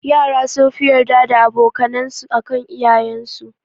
Yara sunfi yarda da aboka nan su akan iyayen su